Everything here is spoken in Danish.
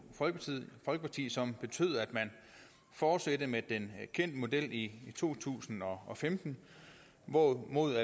folkeparti som betyder at man fortsatte med den kendte model i to tusind og femten hvorimod